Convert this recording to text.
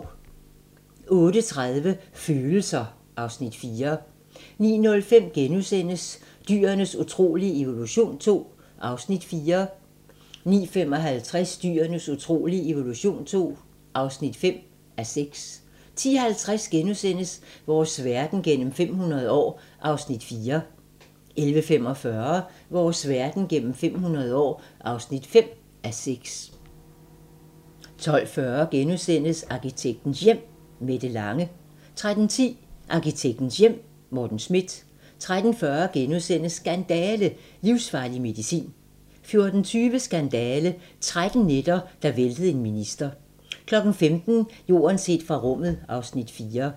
08:30: Følelser: (Afs. 4) 09:05: Dyrenes utrolige evolution II (4:6)* 09:55: Dyrenes utrolige evolution II (5:6) 10:50: Vores verden gennem 500 år (4:6)* 11:45: Vores verden gennem 500 år (5:6) 12:40: Arkitektens Hjem: Mette Lange * 13:10: Arkitektens Hjem: Morten Schmidt 13:40: Skandale - livsfarlig medicin * 14:20: Skandale - 13 nætter, der væltede en minister 15:00: Jorden set fra rummet (Afs. 4)